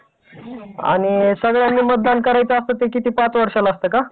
आणि सगळ्यांनी मतदान करायचं असतं ते किती पाच वर्षाला असतं का?